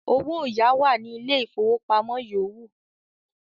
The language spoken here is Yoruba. “owáyàá" wà ní Ilé-ìfowópamọ́ yòówù.